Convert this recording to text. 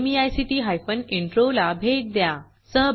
हे भाषांतर मनाली रानडे यांनी केले असून मी रंजना भांबळे आपला निरोप घेते